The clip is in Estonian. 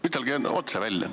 Ütelge otse välja.